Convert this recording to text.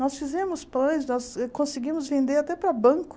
Nós fizemos pães, nós conseguimos vender até para banco.